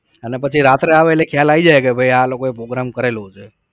અન પછી રાત્રે આવે એટલે ખ્યાલ આવી જાય કે ભાઈ આ લોકોએ program કરેલો છે